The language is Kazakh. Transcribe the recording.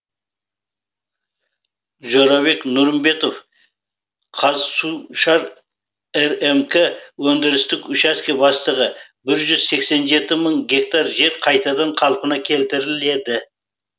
жорабек нұрымбетов қазсушар рмк өндірістік учаске бастығы бір жүз сексен жеті мың гектар жер қайтадан қалпына келтіріледі